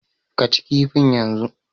Ka ci kifin yanzu!